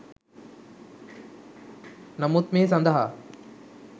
නමුත් මේ සඳහා